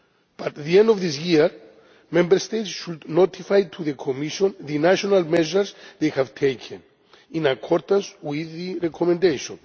By the end of this year, Member States should notify to the Commission the national measures they have taken in accordance with the Recommendation.